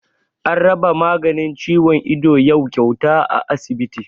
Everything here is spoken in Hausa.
An raba maganin ciwon ido yau kyauta a asibiti